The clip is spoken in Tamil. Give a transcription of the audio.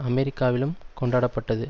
அமெரிக்காவிலும் கொண்டாடப்பட்டது